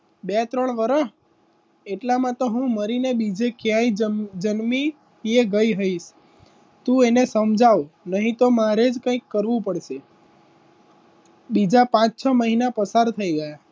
બે ત્રણ વર્ષ એટલામાં તો હું મરીને બીજે ક્યાંય જન્મી એ ગઈ રહીશ તું એને સમજાવ નહીં તો મારે જ કંઈક કરવું પડશે બીજા પાંચ છ મહિના પસાર થઈ ગયા.